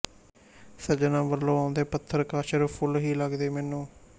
ਸੱਜਣਾਂ ਵੱਲੋਂ ਆਉਂਦੇ ਪੱਥਰ ਕਾਸ਼ਰ ਫੁੱਲ ਹੀ ਲੱਗਦੇ ਮੈਨੂੰ